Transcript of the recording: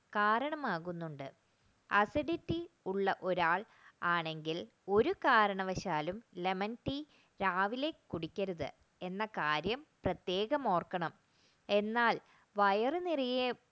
കാരണമാകുന്നുണ്ട് acidity ഒരാൾ ആണെങ്കിൽ ഒരു കാരണവശാലും lemon tea രാവിലെ കുടിക്കരുത് എന്ന കാര്യം പ്രത്യേകം ഓർക്കണം എന്നാൽ വയറു നിറയെ